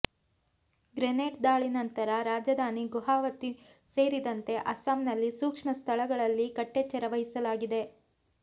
grenade ದಾಳಿ ನಂತರ ರಾಜಧಾನಿ ಗುವಾಹತಿ ಸೇರಿದಂತೆ ಅಸ್ಸಾಂನ ಸೂಕ್ಷ್ಮ ಸ್ಥಳಗಳಲ್ಲಿ ಕಟ್ಟೆಚ್ಚರ ವಹಿಸಲಾಗಿದೆ